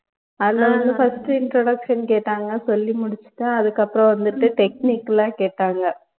அதுல வந்து first introduction கேட்டாங்க சொல்லி முடிச்சுட்டேன் அதுக்கு அப்பறம் வந்துட்டு technical ஆ கேட்டாங்க